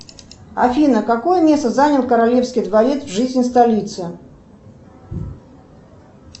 афина какое место занял королевский дворец в жизни столицы